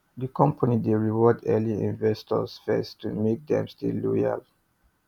the company dey reward early investors first to make dem stay loyal